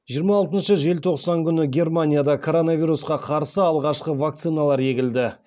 жиырма алтыншы желтоқсан күні германияда коронавирусқа қарсы алғашқы вакциналар егілді